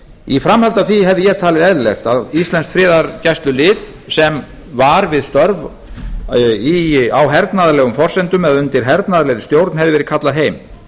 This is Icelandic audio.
í framhaldi af því hefði ég talið eðlilegt að íslenskt friðargæslulið sem var við störf á hernaðarlegum forsendum eða undir hernaðarlegri stjórn hefði verið kallað heim